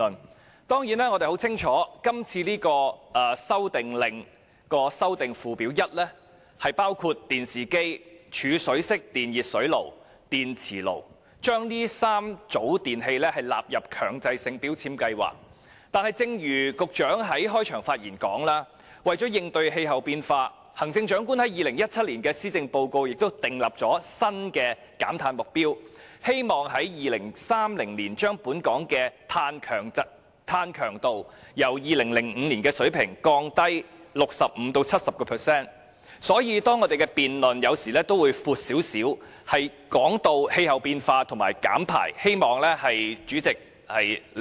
我們當然很清楚，這項《修訂令》旨在把電視機、儲水式電熱火器和電磁爐3組電器納入強制性能源效益標籤計劃，但正如局長在開場發言時說，為了應對氣候變化，行政長官已在2017年的施政報告訂立新的減碳目標，希望在2030年把本港的碳強度由2005年的水平降低 65% 至 70%， 所以有時候我們的辯論範圍也會較闊，涉及氣候變化及減排，希望主席理解。